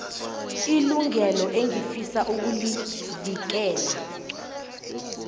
ilungelo engifisa ukulivikela